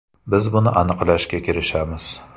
Biz buni aniqlashga kirishamiz.